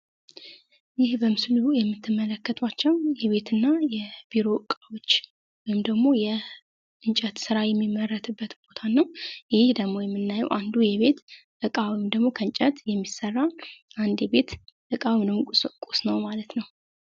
ይህ በምስሉ የምትመለከታቸው የቤት እና የቢሮዎች ወይም ደግሞ የእንጨት ስራ የሚመረትበት ቦታ ነው። ይህ ደግሞ የምናየው አንዱ የቤት እቃ ወይም ደግሞ ከእንጨት የሚሠራ አንድ የቤት እቃ ነው ማለት ነው።